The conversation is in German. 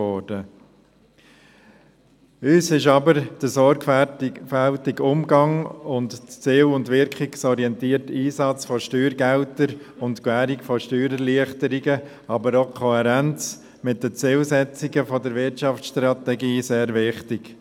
Uns ist aber der sorgfältige Umgang, der ziel- und wirkungsorientierte Einsatz von Steuergeldern und die Gewährung von Steuererleichterungen, aber auch die Kohärenz mit den Zielsetzungen der Wirtschaftsstrategie sehr wichtig.